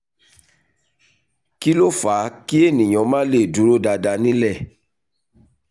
kí ló fà á kí ènìyàn má le dúró dáadáa nilẹ?